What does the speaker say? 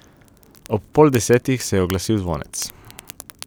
Ob pol desetih se je oglasil zvonec.